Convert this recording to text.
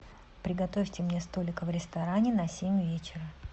приготовьте мне столик в ресторане на семь вечера